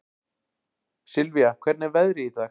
Sylvia, hvernig er veðrið í dag?